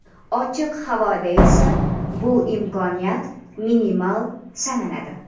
Ochiq havoda esa bu imkoniyat minimal sanaladi.